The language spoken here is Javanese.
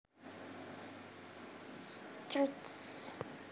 Strict